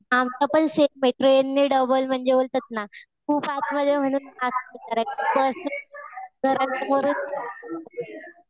आमचं पण सेम आहे. ट्रेनने डबल म्हणजे बोलतात ना खूप आतमध्ये म्हणून बसने घरा समोरून